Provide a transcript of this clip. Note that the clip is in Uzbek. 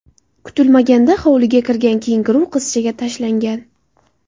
Kutilmaganda hovliga kirgan kenguru qizchaga tashlangan.